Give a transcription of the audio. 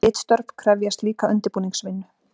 Ritstörf krefjast líka undirbúningsvinnu.